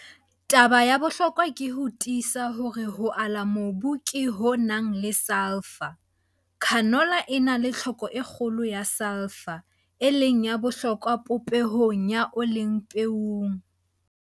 Taba ya bohlokwa ke ho tiisa hore ho ala mobu ke ho nang le Sulphur, S. Canola e na le tlhoko e kgolo ya S, e leng ya bohlokwa popehong ya ole peong.